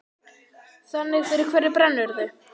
Þannig fyrir hverju brennurðu?